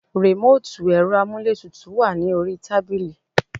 Remoti ẹ̀rọ amuletutu wà ní orí tábìlì